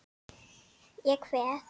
Ég kveð.